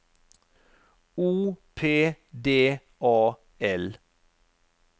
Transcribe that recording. O P D A L